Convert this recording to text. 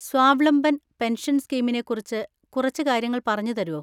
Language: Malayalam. സ്വാവ്ലംബൻ പെൻഷൻ സ്കീമിനെ കുറിച്ച് കുറച്ച് കാര്യങ്ങൾ പറഞ്ഞുതരോ?